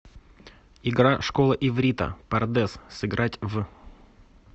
игра школа иврита пардес сыграть в